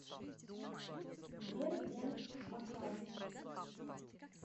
сбер бенз макан